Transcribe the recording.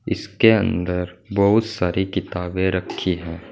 इसके अंदर बहुत सारी किताबें रखी हैं।